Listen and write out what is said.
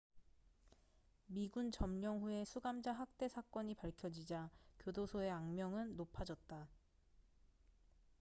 미군 점령 후에 수감자 학대 사건이 밝혀지자 교도소의 악명은 높아졌다